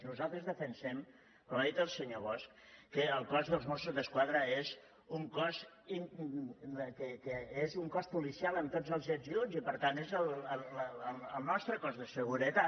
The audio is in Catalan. nosaltres defensem com ha dit el senyor bosch que el cos dels mossos d’esquadra és un cos policial amb tots els ets i uts i per tant és el nostre cos de seguretat